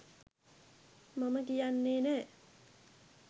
මම කියන්නේ නෑ.